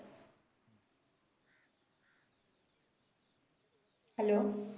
hello